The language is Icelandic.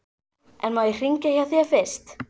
En má ég hringja hjá þér fyrst?